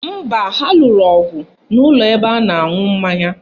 Mba, ha lụrụ ọgụ n'ụlọ ebe a na-aṅụ mmanya